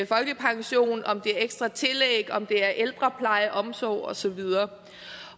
folkepension om det er ekstra tillæg om det er ældrepleje omsorg og så videre